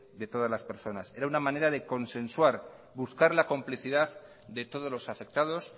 de todas las personas era una manera de consensuar buscar la complicidad de todos los afectados